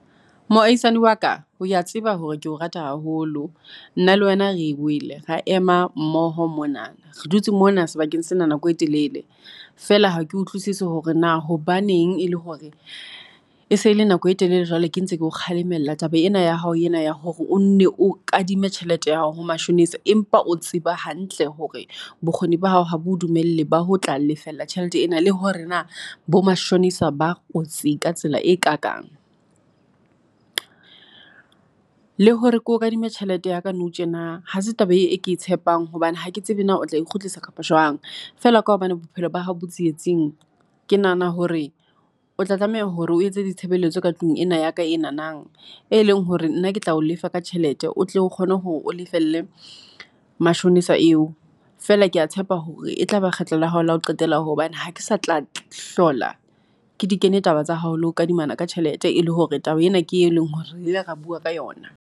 Moahisani wa ka. O a tseba hore keo rata haholo. Nna le wena re wele ra ema mmoho mona. Re dutse mona sebakeng sena nako e telele. Feela ha ke utlwisise hore na hobaneng e le hore, e sele nako e telele jwale ke ntse keo kgalemella taba ena ya hao ena ya hore o nne o kadimme tjhelete ya hao ho mashonisa. Empa o tseba hantle hore, bokgoni ba hao ha bo dumelle ba ho tla lefella tjhelete ena. Le hore na, bo mashonisa ba kotsi ka tsela e kakang. Le hore ke o kadime tjhelete ya ka nou tjena. Ha se taba e ke e tshepang hobane hake tsebe na o tlae kgutlisa kapa Jwang. Fela ka hobane bophelo bahao bo tsietsing. Ke nahana hore o tla tlameha hore o etse ditshebeletso ka tlung ena ya ka ena nang. E leng hore nna ke tla o lefa ka tjhelete, o tle o kgone hore o lefelle mashonisa eo. Fela ke a tshepa hore e tlaba kgetlo la hao la o qetela hobane ha ke sa tla hlola ke di kene taba tsa hao. Le ho kadimana ka tjhelete, e le hore taba ena ke e leng hore re ile ra bua ka yona.